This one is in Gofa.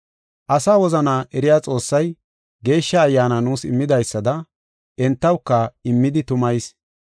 Asa wozana eriya Xoossay Geeshsha Ayyaana nuus immidaysada entawuka immidi tumayis.